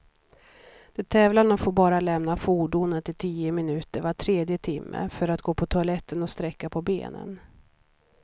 De tävlande får bara lämna fordonet i tio minuter var tredje timme, för att gå på toaletten och sträcka på benen.